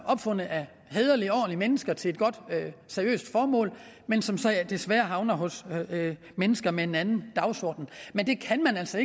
opfundet af hæderlige ordentlige mennesker til et godt og seriøst formål men som desværre havner hos mennesker med en anden dagsorden men det kan man altså